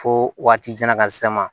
Fo waati jankan se ma